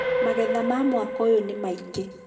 magetha ma mwaka ũyũ nĩ maingĩ